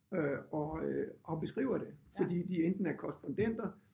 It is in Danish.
Øh og øh og beskriver det fordi de enten er korrespondenter